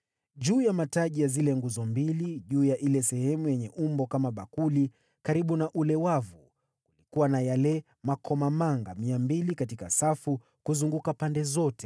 Juu ya mataji ya zile nguzo mbili, juu ya ile sehemu yenye umbo kama bakuli, karibu na ule wavu, kulikuwa na yale makomamanga 200 katika safu kuzunguka pande zote.